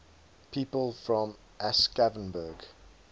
people from aschaffenburg